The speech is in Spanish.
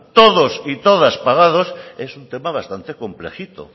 todas y todos pagados es un tema bastante complejito